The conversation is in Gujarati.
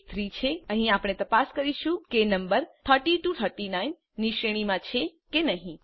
અને આ કેસ 3 છે અહીં આપણે તપાસ કરીશું કે નમ્બર 30 39 ની શ્રેણીમાં છે કે નહી